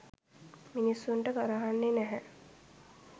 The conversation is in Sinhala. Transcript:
මිනිස්සුන්ට ගරහන්නේ නැහැ